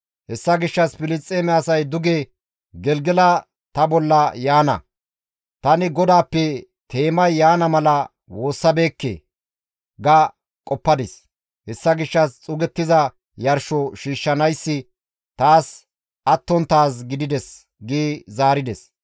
‹Hessa gishshas Filisxeeme asay duge Gelgela ta bolla yaana; tani GODAAPPE teemay yaana mala woossabeekke› ga qoppadis; hessa gishshas xuugettiza yarsho shiishshanayssi taas attonttaaz gidides» gi zaarides.